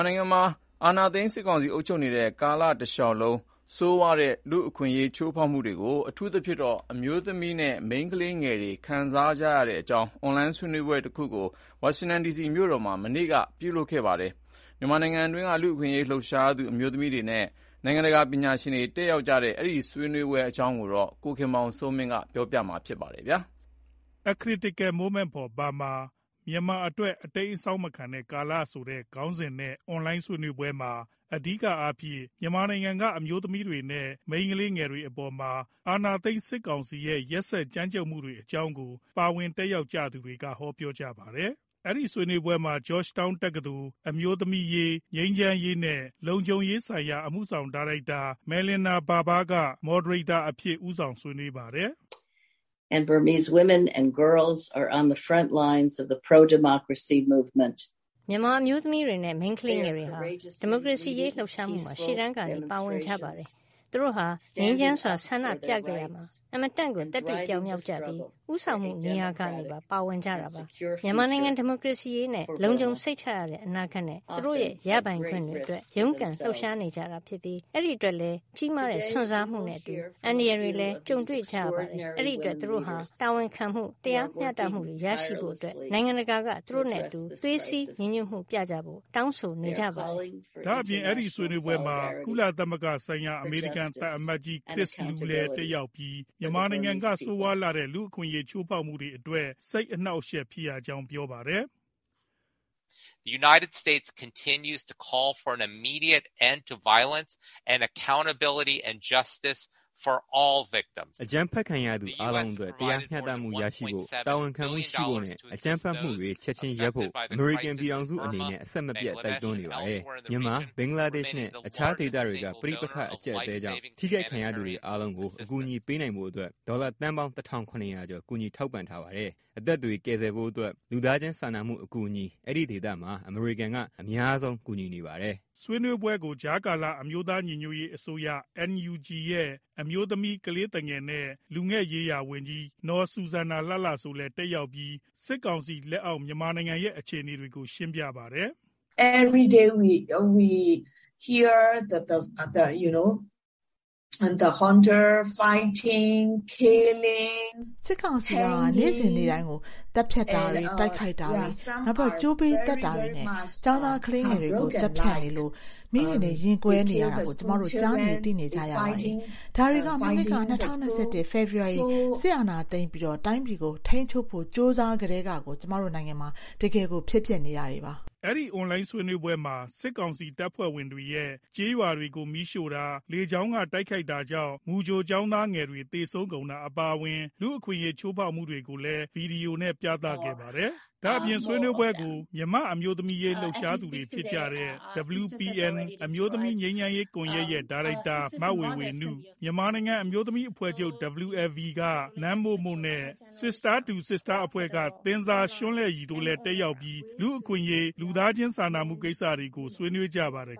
ာနိုင်ငံမှာ အာဏာသိမ်း စစ်ကောင်စီ အုပ်ချုပ်နေတဲ့ ကာလတလျှောက်လုံး ဆိုးဝါးတဲ့ လူ့အခွင့်အရေး ချိုးဖောက်မှုတွေကို အထူးသဖြင့် အမျိုးသမီးတွေ နဲ့ မိန်းကလေးငယ်တွေဟာ ခံစားနေကြရတဲ့အကြောင်း အွန်လိုင်း ဆွေးနွေးပွဲတခုကို အမေရိကန် ပြည်ထောင်စု ၊ ဝါရှင်တန်ဒီစီမြို့တော်မှာ မနေ့က ပြုလုပ်ခဲ့ပါတယ်။ မြန်မာနိုင်ငံအတွင်းက လူအခွင့်အရေး လှုပ်ရှားသူ အမျိုးသမီးတွေ နဲ့ နိုင်ငံတကာ ပညာရှင်တွေ တက်ရောက်ကြတဲ့ အဲဒီဆွေးနွေးပွဲ အကြောင်းကို ကိုခင်မောင်စိုးမင်း က ပြောပြပါမယ်။ A Critical Moment for Burma “မြန်မာအတွက် အတိမ်းအစောင်းမခံတဲ့ ကာလ” ဆိုတဲ့ ခေါင်းစဉ်နဲ့ အွန်လိုင်းဆွေးနွေးပွဲမှာ အဓိကအားဖြင့် မြန်မာနိုင်ငံက အမျိုးသမီးတွေနဲ့ မိန်းကလေးငယ်တွေအပေါ်မှာ အာဏာသိမ်း စစ်ကောင်စီ ရဲ့ ရက်စစ်ကြမ်းကြမ်းမှုတွေ အကြောင်းကို ပါဝင်တက်ရောက်ကြသူတွေက ပြောဆိုကြပါတယ်။ အဲဒီ ဆွေးနွေးပွဲမှာ Georgetown တက္ကသိုလ် အမျိုးသမီးရေး၊ ငြိမ်းချမ်းရေး နဲ့ လုံခြုံရေးဆိုင်ရာ အမှုဆောင် ဒါရိုက်တာ Melanne Verveer က Morderater အဖြင့် ဦးဆောင် ဆွေးနွေးပါတယ်။ " မြန်မာ အမျိုးသမီးတွေ နဲ့ မိန်းကလေးငယ်တွေဟာ ဒီမိုကရေစီ အရေးလှုပ်ရှားမှုမှာ ရှေ့တန်းကနေ ပါဝင်ကြပါတယ်။ သူတို့ဟာ ငြိမ်းချမ်းစွာ ဆန္ဒပြခဲ့ကြရမှာ အင်မတန်ကို သတ္တိပြောင်မြောက်ကြပြီး ဦးဆောင်မှုနေရာကနေ ပါဝင်ကြပါတယ်။ မြန်မာနိုင်ငံ ဒီမိုကရေစီရေး၊ လုံခြုံစိတ်ချရတဲ့ အနာဂတ် နဲ့ သူတို့ရဲ့ ရပိုင်ခွင့်တွေအတွက် ရုန်းကန်လှုပ်ရှားနေကြပြီး အဲဒီအတွက်လည်း ကြီးမားတဲ့ စွန့်စားမှုနဲ့အတူ အန္တရာယ်တွေလည်း ကြုံတွေကြရပါတယ်။ အဲဒီအတွက် သူတို့ဟာ တာဝန်ခံမှု၊ တရားမျှတမှုတွေ ရရှိဖို့အတွက် နိုင်ငံတကာ က သူတို့နဲ့အတူ သွေးစည်းညီညွတ်မှုကြဖို့ တောင်းဆိုနေကြပါတယ်" ဒါအပြင် အဲဒီဆွေးနွေးပွဲမှာ ကုလသမဂ္ဂဆိုင်ရာ အမေရိကန် သံအမတ်ကြီး Chris Lu လည်း တက်ရောက်ပြီး မြန်မာနိုင်ငံက ဆိုးဝါးလှတဲ့ လူ့အခွင့်အရေး ချိုးဖောက်မှုတွေအတွက် စိတ်အနှောက်အယှက်ဖြစ်ရကြောင်း ပြောပါတယ်။ "အကြမ်းဖက်ခံရသူ အားလုံးအတွက် တရားမျှတမှုရရှိဖို့၊ တာဝန်ခံမှု ရှိဖို့ နဲ့ အကြမ်းဖက်မှုတွေ ချက်ချင်းရပ်ဖို့ အမေရိကန် ပြည်ထောင်စု အနေနဲ့ အဆက်မပြတ် တိုက်တွန်းနေပါတယ်။ မြန်မာ၊ ဘင်္ဂလားဒေ့ရှ် နဲ့ တခြားဒေသတွေက ပဋိပက္ခ အကြပ်အတည်းကြောင့် ထိခိုက်ခံရသူတွေအားလုံးကို အကူအညီပေးနိုင်ဖို့အတွက် ဒေါ်လာသန်းပေါင်း တထောင် ခုနှစ်ရာ ကျော် ကူညီထောက်ပံ့ထားပါတယ် ။အသက်တွေ ကယ်ဆယ်ဖို့အတွက် လူသားချင်းစာနာမှု အကူအညီ အဲဒီဒေသမှာ အမေရိကန် က အများဆုံး ကူညီနေပါတယ်။ အဲဒီဆွေးနွေးပွဲကို ကြားကာလ အမျိုးသား ညီညွတ်ရေး အစိုးရ NUG ရဲ့ အမျိုးသမီး၊ ကလေးသူငယ် နဲ့ လူငယ်ရေးရာ ဝန်ကြီး နော်စူဆန်နာ လှလှစိုး လည်း တက်ရောက်ပြီး စစ်ကောင်စီ လက်အောက် မြန်မာနိုင်ငံ ရဲ့ အခြေအနေတွေကိုရှင်းပြပါတယ်။ " စစ်ကောင်စီ ဟာ နေ့စဉ်နေ့တိုင်း သတ်ဖြတ်မှုတွေ၊ တိုက်ခိုက်မှုတွေ၊ ကြိုးပေးသတ်တာတွေ နဲ့ ကျောင်းသား ကလေးငယ်တွေကို သတ်ဖြတ်ခံရလို့ မိခင်တွေရဲ့ ရင်ကွဲမှုတွေကို ကျမတို့ ကြားနေ သိနေကြရပါတယ်။ ဒါတွေဟာ မနှစ် ၂ဝ၂၁ ဖေဖော်ဝါရီ စစ်အာဏာသိမ်းပြီး တိုင်းပြည်ကို ထိန်းချုပ်ဖို့ ကြိုးစားကတည်းကတိုင် ကျမတို့နိုင်ငံမှာ တကယ်ကို ဖြစ်ပျက်နေတာပါပဲ" ဆွေးနွေးပွဲမှာ စစ်ကောင်စီတပ်ဖွဲ့တွေရဲ့ ကျေးရွာတွေကို မီးရှို့တာ၊ လေကြောင်းကနေ တိုက်ခိုက်မှုကြောင့် မူကြိုကျောင်းသားငယ်လေးတွေ သေဆုံးကုန်တာ အပါအဝင် လူ့အခွင့်အရေး ချိုးဖောက်မှုတွေကို ဗွီဒီယိုနဲ့ ပြသခဲ့ပါတယ်။ ဒါအပြင် ဆွေးနွေးပွဲကို မြန်မာ အမျိုးသမီးရေး လှုပ်ရှားသူတွေဖြစ်ကြတဲ့ WPN အမျိုးသမီး ငြိမ်းချမ်ရေး ကွန်ယက် ရဲ့ ဒါရိုက်တာ မဝေဝေနု၊ မြန်မာနိုင်ငံ အမျိုးသမီးအဖွဲ့ချုပ် WLB နဲ့ Sister 2 Sister အဖွဲ့က Thinzar Shunlei တို့လည်း လူ့အခွင့်အရေး၊ လူသားချင်းစာနာမှု ကိစ္စတွေကို ဆွေးနွေးကြပါတယ်